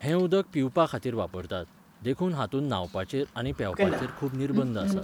हें उदक पिवपाखातीर वापरतात, देखून हातूंत न्हावपाचेर आनी पेंवपाचेर खूब निर्बंध आसात.